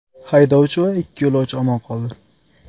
Haydovchi va ikki yo‘lovchi omon qoldi.